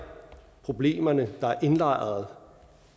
problemerne der er indlejret